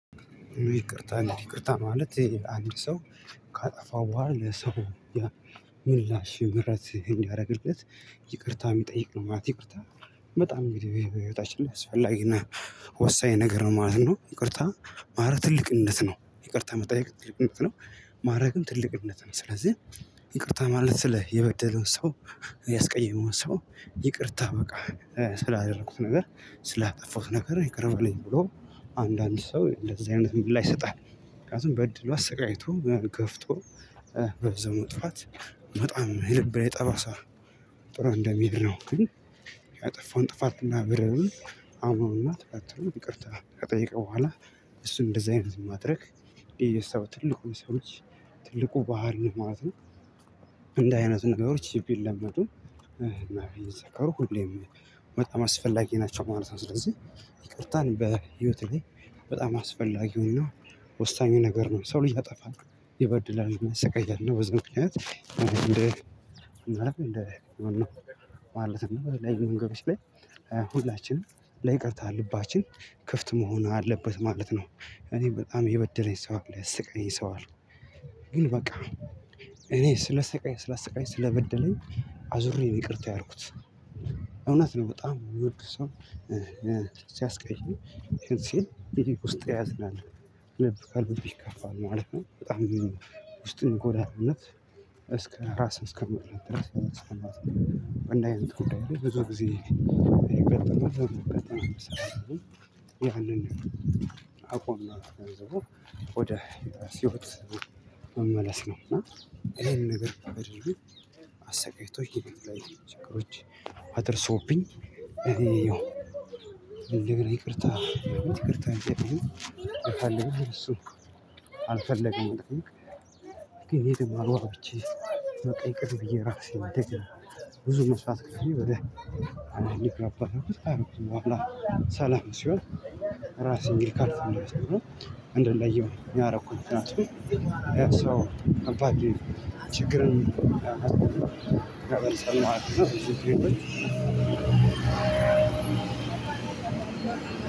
ይቅርታ ይቅርታ ማለት አንድ ሰው ካጠፋ በኋላ ለሰው ምላሽ የምህረት እንዲያደርግለት ይቅርታ የሚጠይቅ ነው ማለት ይቅርታ። በጣም ብዬ በህይወታችን ላይ አስፈላጊና ወሳኝ ነገር ነው ማለት ነው። ይቅርታ ማለት ትልቅነት ነው ይቅርታ መጠየቅ ትልቅነት ነው ማረግም ትልቅነት ነው። ስለዚህ ይቅርታ ማለት ስለ የበደለውን ሰው ያስቀየመውን ሰው ይቅርታ በቃ ስላደረኩት ነገር ስላጠፋሁት ነገር ይቀር በለኝ ብሎ አንዳንድ ሰው እንደዚህ አይነት ምላሽ ይሰጣል። ምክንያቱም በድሎ አስቃይቶ ገፍቶ በዛው መጥፋት በጣም የልብ ላይ ጠባሳ ጥሎ እንደመሄድ ነው። ግን ያጠፋውን ጥፋትና በደሉን አምነውና ተከትለው ይቅርታ ከጠየቀ በኋላ እሱን እንደዚህ አይነት ማድረግ ይሄ የሰው ትልቁ የሰዎች ልጅ ባህሪ ነው ማለት ነው። እንዲህ አይነት ነገሮች ቢለመዱ እና ቢዘከሩ ሁሌም በጣም አስፈላጊ ናቸው ማለት ነው። ስለዚህ ይቅርታን በህይወት ላይ በጣም አስፈላጊውና ወሳኙ ነገር ነው ሰው ልጅ ያጠፋል ይበድላል ያሰቃያል እና በዚህ ምክንያት እንደ እናት እንደ ማለት ነው የተለያዩ ነገሮች ላይ ሁላችንም ለይቅርታ ልባችን ክፍት መሆን አለበት ማለት ነው። እኔ በጣም የበደለኝ ሰው አለ ያሰቃየኝ ሰው አለው። ግን በቃ እኔ ስላሰቃኝ ስላሰቃኝ ስለበደለኝ አዙሬ ነው ይቅርታ ያልኩት። እውነት ነው በጣም የሚወድህ ሰው ሲያስቀይም ሲል ውስጥ ያዝናል ልብ ከልቡ ይከፋል ማለት ነው። በጣም ውስጥን ይጎዳል እውነት እስከ ራስ እስከመጥላት ድረስ እንዲህ አይነት ጉዳይ ላይ ብዙ ጊዜ ያጋጥማል። ያንን አቋምና ገንዘቡ ወደ ህይወት መመለስ ነው። እና ይሄን ነገር ካደረግን አሰቃይቶኝ በተለያዩ ችግሮች አድርሶብኝ እየው እንደገና ይቅርታ ይቅርታ የሚጠይኩኝን እሱ አልፈለግንም። ግን ይሄ ደግሞ አግባብቼ በቃ ይቅር ብዬ ራሴን እንደገና ብዙ መስዋእት ከፍዬ ወደ ልክ አባል አልኩት ከአመቱ በኋላ ሰላም ሲሆን። ራስን እንግዲ ካልፈለኩት ደግሞ ነው እንድንለየው ያረኩኝ ምክንያቱም ያሰው አልፓርድ ችግርን ተመልሰኝ ማሊት ነው። እዚህ ክሬቶች